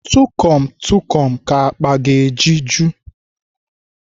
Tukom Tukom ka akpa ga-eji eju.